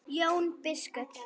Jón biskup!